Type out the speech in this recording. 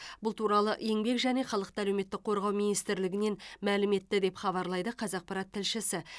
бұл туралы еңбек және халықты әлеуметтік қорғау министрлігінен мәлім етті деп хабарлайды қазақпарат тілшісі